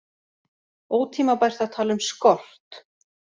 Ótímabært að tala um skort